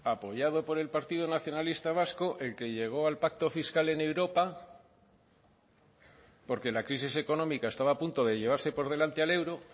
apoyado por el partido nacionalista vasco el que llegó al pacto fiscal en europa porque la crisis económica estaba a punto de llevarse por delante al euro